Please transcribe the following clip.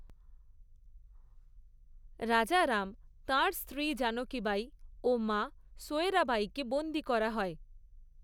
রাজারাম, তাঁর স্ত্রী জানকি বাঈ ও মা সোয়রাবাঈকে বন্দী করা হয়।